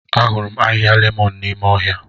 Ahụrụ m ahịhịa lemon n'ime ọhịa.